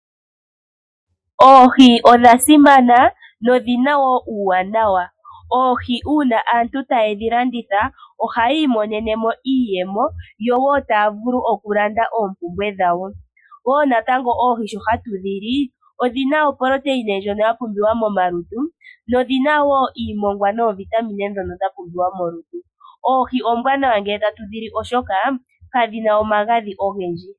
Oohi odhasimana nodhina wo uuwanawa. Oohi uuna aantu taye dhilanditha ohayi imonene mo iiyemo yo wo taya vulu okulanda oompumbwe dhawo, wo natango oohi sho hatu dhi li odhina ooproteina ndjono ya pumbiwa momalutu nodhina wo iimongwa noovitamine ndhono dhapumbiwa molutu. Oohi oombwanawa ngele tatu dhili oshoka kadhina omagadhi ogendji.